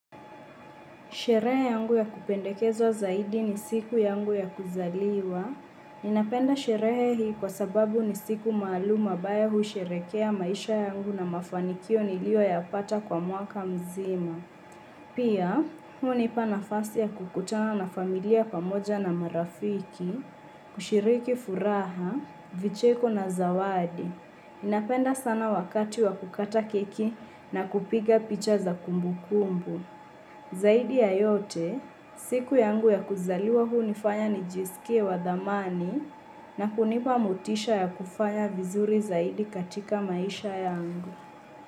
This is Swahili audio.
Sherehe yangu ya kupendekezwa zaidi ni siku yangu ya kuzaliwa. Ninapenda sherehe hii kwa sababu ni siku maalum ambayo husherekea maisha yangu na mafanikio niliyo ya pata kwa mwaka mzima. Pia, hunipa nafasi ya kukutana na familia pamoja na marafiki, kushiriki furaha, vicheko na zawadi. Napenda sana wakati wa kukata keki na kupiga picha za kumbu kumbu. Zaidi ya yote, siku yangu ya kuzaliwa hunifanya nijiskie wa dhamani na kunipa motisha ya kufanya vizuri zaidi katika maisha yangu.